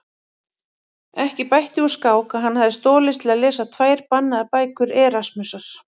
Ekki bætti úr skák að hann hafði stolist til að lesa tvær bannaðar bækur Erasmusar.